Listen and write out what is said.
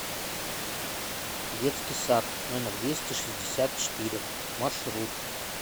детский сад номер двести шестьдесят четыре маршрут